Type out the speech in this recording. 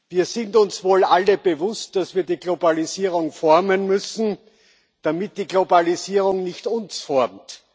Wir sind uns wohl alle bewusst, dass wir die Globalisierung formen müssen, damit die Globalisierung nicht uns formt.